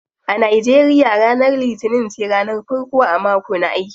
A Nigeria ranar litinin ce ranar farko a mako na aiki.